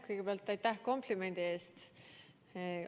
Kõigepealt aitäh komplimendi eest!